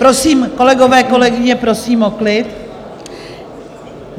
Prosím, kolegyně, kolegové, prosím o klid.